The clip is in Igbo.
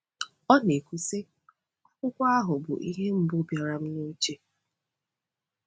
Ọ na-ekwu, sị: “Akwụkwọ ahụ bụ ihe mbụ bịara m n’uche.